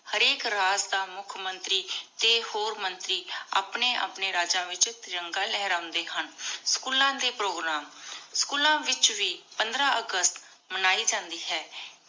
ਹਰ ਆਇਕ ਰਾਜ ਦਾ ਮੁਖ ਮੰਤਰੀ ਟੀ ਹੋਰ ਮੰਤਰੀ ਅਪਨੀ ਅਪਨੀ ਰਾਜੀ ਵਿਚ ਤਿਰਾਨਾਗ ਲੇਹ੍ਰਾਂਡੇ ਹਨ ਸ੍ਚੂਲਾਂ ਦੇ ਪ੍ਰੋਗਰਾਮ ਸ੍ਚੂਲਾਂ ਵਿਚ ਵੇ ਪੰਦ੍ਰ ਅਗਸਤ ਮਨਾਈ ਜਾਂਦੀ ਹੈ